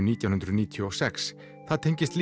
nítján hundruð níutíu og sex það tengist